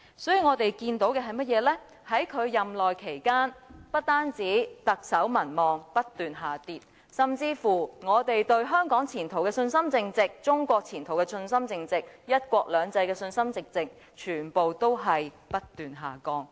所以，我們看到的是，在他任內期間，不單特首民望不斷下跌，甚至我們對香港和中國的前途信心淨值，以及對"一國兩制"的信心淨值全部皆不斷下降。